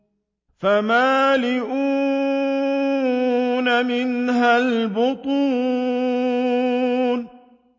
فَمَالِئُونَ مِنْهَا الْبُطُونَ